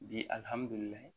Bi alihamudulilayi